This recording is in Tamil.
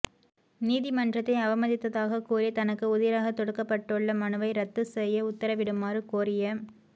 நீதிமன்றத்தை அவமதித்ததாக கூறிதனக்கு உதிராக தொடுக்கப்பட்டுள்ள மனுவை இரத்து செய்ய உத்தரவிடுமாறு கோரிய